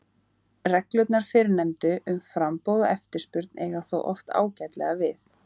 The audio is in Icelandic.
Reglurnar fyrrnefndu um framboð og eftirspurn eiga þó oft ágætlega við.